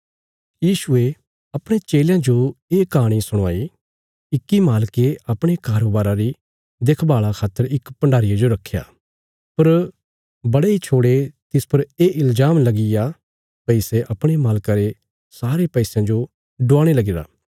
यीशुये अपणे चेलयां जो ये कहाणी सुणवाई इक्की मालके अपणे कारोबारा री देखभाल़ा खातर इक भण्डारीये जो रखया पर बड़े इ छोड़े तिस पर ये इल्जाम लगीग्या भई सै अपणे मालका रे सारे पैसयां जो डवाणे लगीरा